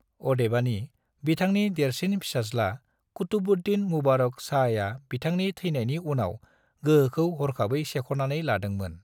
अदेबानि, बिथांनि देरसिन फिसाज्ला कुतुबुद्दीन मुबारक शाहआ बिथांनि थैनायनि उनाव गोहोखौ हरखाबै सेख'नानै लादों मोन।